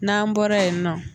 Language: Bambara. N'an bɔra yen n nɔ